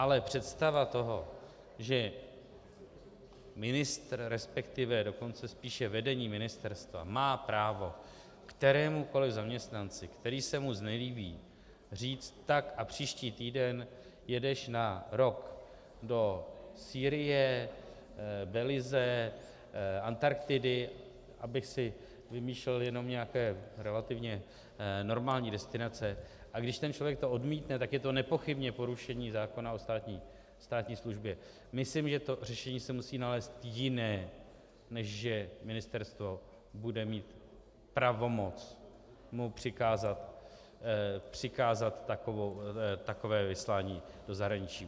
Ale představa toho, že ministr, respektive dokonce spíše vedení ministerstva má právo kterémukoliv zaměstnanci, který se mu znelíbí, říct "tak, a příští týden jedeš na rok do Sýrie, Belize, Antarktidy", abych si vymýšlel jenom nějaké relativně normální destinace, a když ten člověk to odmítne, tak je to nepochybně porušení zákona o státní službě - myslím, že to řešení se musí nalézt jiné, než že ministerstvo bude mít pravomoc mu přikázat takové vyslání do zahraničí.